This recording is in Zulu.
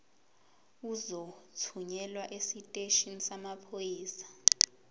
uzothunyelwa esiteshini samaphoyisa